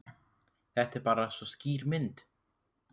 Þetta er bara svo skýr mynd.